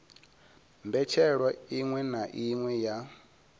mbetshelwa iṅwe na iṅwe ya